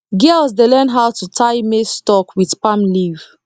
girls dey learn how to tie maize stalk with palm leaf